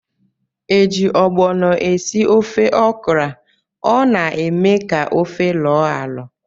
Eji ogbono esị ofe okra, ọ na- eme ka ofe loo alo.